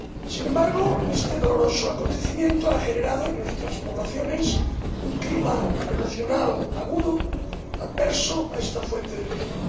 Sin embargo, este doloroso acontecimiento ha generado en nuestras poblaciones un clima emocional agudo, adverso a esta fuente de energía.